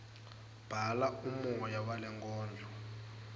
bhala umoya walenkondlo